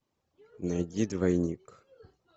найди двойник